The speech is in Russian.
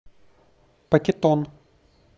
пакетон